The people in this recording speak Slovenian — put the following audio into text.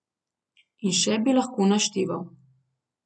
In še bi lahko našteval.